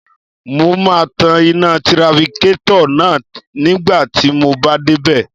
Mo máa tan iná tirafikétọ̀ náà nígbà tí mo bá dé bẹ̀